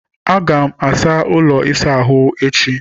Aga m asa ụlọ ịsa ahụ ahụ echi.